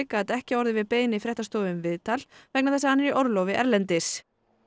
gat ekki orðið við beiðni fréttastofu um viðtal vegna þess að hann er í orlofi erlendis